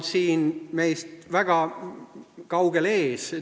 Soome on meist väga kaugel ees.